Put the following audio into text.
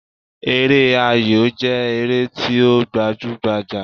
Eré ayò jẹ́ ère ti o gbajú gbajà